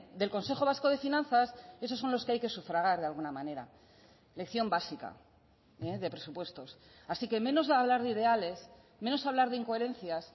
del consejo vasco de finanzas esos son los que hay que sufragar de alguna manera lección básica de presupuestos así que menos hablar de ideales menos hablar de incoherencias